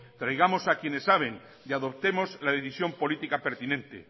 traigamos a quienes saben y adoptemos la decisión política pertinente